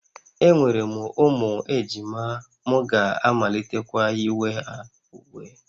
Enwere m ụmụ ejima, m ga-amalitekwa yiwe ha uwe